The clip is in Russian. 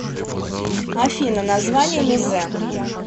афина название мезе